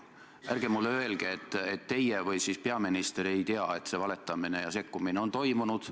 Ärge öelge mulle, et teie või siis peaminister ei tea, et selline valetamine ja sekkumine on toimunud.